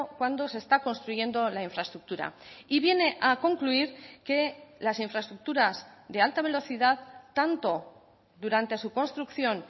cuando se está construyendo la infraestructura y viene a concluir que las infraestructuras de alta velocidad tanto durante su construcción